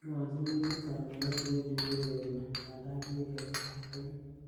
ikochin timit kamuget ye wendi kourereni nganda kikiker ligit.